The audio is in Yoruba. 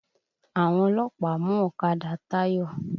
Àwọn ọlọ́pàá mú ọ̀kadà Táyọ̀.